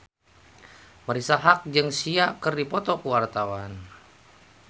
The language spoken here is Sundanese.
Marisa Haque jeung Sia keur dipoto ku wartawan